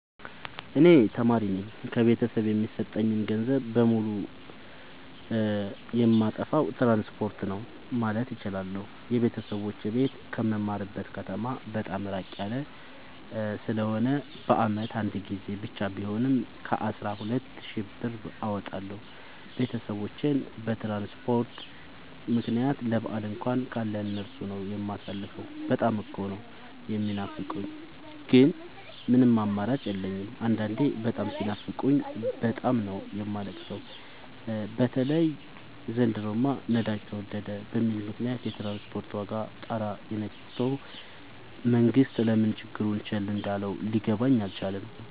እኔ ተማሪነኝ ከቤተሰብ የሚሰጠኝን ገንዘብ በሙሉ ጨየማጠፋው ትራንስፖርት ነው። ማለት እችላለሁ። የቤተሰቦቼ ቤት ከምማርበት ከተማ በጣም እራቅ ያለ ስለሆነ በአመት አንድ ጊዜ ብቻ ቢሆንም ከአስራ ሁለት ሺ ብር በላይ አወጣለሁ። ቤተሰቦቼን በትራንስፖርት ምክንያት ለበአል እንኳን ካለ እነሱ ነው። የማሳልፈው በጣም እኮ ነው። የሚናፍቁኝ ግን ምንም አማራጭ የለኝም አንዳንዴ በጣም ሲናፍቁኝ በጣም ነው የማለቅ ሰው በተለይ ዘንድሮማ ነዳጅ ተወደደ በሚል ምክንያት የትራንስፖርት ዋጋ ጣራ የክቶል መንግስት ለምን ችግሩን ቸል እንዳለው ሊገባኝ አልቻለም።